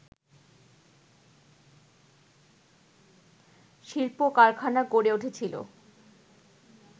শিল্প কারখানা গড়ে উঠেছিলো